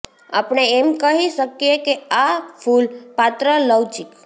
આપણે એમ કહી શકીએ કે આ ફૂલ પાત્ર લવચીક